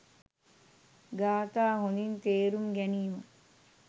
ගාථා හොඳින් තේරුම් ගැනීම